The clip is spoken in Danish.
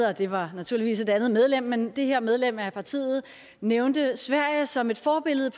og det var naturligvis et andet medlem men det her medlem af partiet nævnte sverige som et forbillede